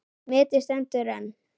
Metið stendur enn.